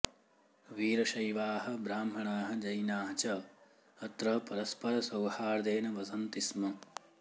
वीरशैवाः ब्राह्मणाः जैनाः च अत्र परस्परसौहार्देन वसन्ति स्म